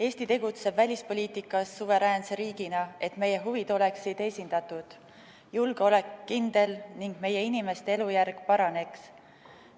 Eesti tegutseb välispoliitikas suveräänse riigina, et meie huvid oleksid esindatud ja julgeolek kindel ning meie inimeste elujärg paraneks.